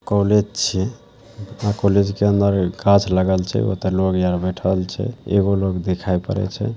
College छे यह college के अंदर घास लगल छे ओतै लोग यहाँ बैठल छे एगो लोग दिखाई पड़ल छे।